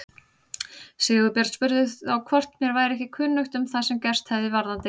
Sigurbjörn spurði þá hvort mér væri ekki kunnugt um það sem gerst hefði varðandi